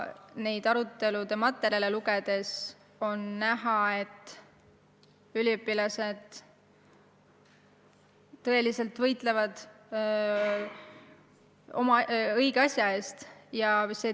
Neid arutelude materjale lugedes on näha, et üliõpilased tõeliselt võitlevad õige asja eest.